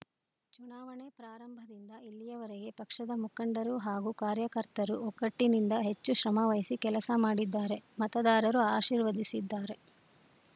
ಚುನಾವಣೆ ಪ್ರಾರಂಭದಿಂದ ಇಲ್ಲಿಯವರೆಗೆ ಪಕ್ಷದ ಮುಖಂಡರು ಹಾಗೂ ಕಾರ್ಯಕರ್ತರು ಒಗ್ಗಟ್ಟಿನಿಂದ ಹೆಚ್ಚು ಶ್ರಮವಹಿಸಿ ಕೆಲಸ ಮಾಡಿದ್ದಾರೆ ಮತದಾರರು ಆಶೀರ್ವದಿಸಿದ್ದಾರೆ